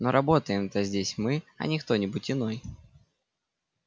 но работаем-то здесь мы а не кто-нибудь иной